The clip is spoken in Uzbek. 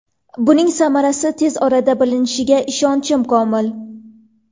Buning samarasi tez orada bilinishiga ishonchim komil.